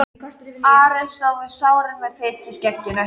Ari stóð við sáinn með fitu í skegginu.